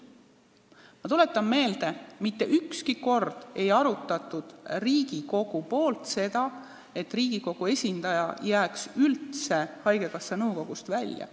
Ma tuletan meelde, et mitte ükski kord pole Riigikogus arutatud seda, et Riigikogu esindaja võiks üldse haigekassa nõukogust välja jääda.